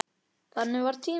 Þannig var tíminn.